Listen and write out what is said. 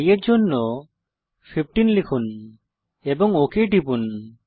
i এর জন্য 15 লিখুন এবং ওক টিপুন